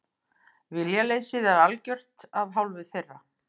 Viljaleysið sé algjört af hálfu þeirra